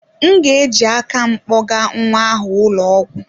M ga-eji aka m kpogaa nwa ahụ ụlọ ọgwụ.